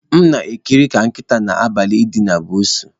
M na-ekiri ka nkịta na-agbalị idina pusi